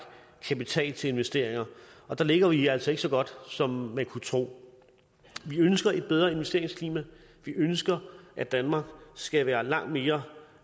kapital til investeringer der ligger vi altså ikke så godt som man kunne tro vi ønsker et bedre investeringsklima vi ønsker at danmark skal være langt mere